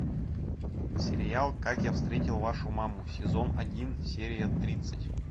сериал как я встретил вашу маму сезон один серия тридцать